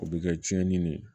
O bɛ kɛ tiɲɛni de ye